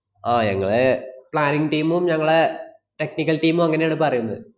ആഹ് ഞങ്ങളെ planning team ഉം ഞങ്ങളെ technical team ഉം അങ്ങനെയാണ് പറയുന്ന്.